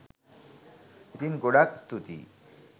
ඉතින් ගොඩාක් ස්තූතියි